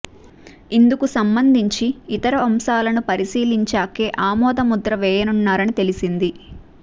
ఇందుకు సంబంధించి ఇతర అంశాలను పరిశీలించాకే ఆమోద ముద్ర వేయనున్నారని తెలిసింది